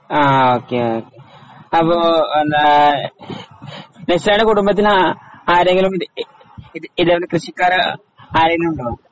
ആഹ് okay okay. അപ്പോ എന്താ നിസേടെ കുടുംബത്തിലെ ആഹ് ആരെങ്കിലും ഇ ഇതേപോലെ കൃഷിക്കാര് ആരെങ്കിലുമുണ്ടോ?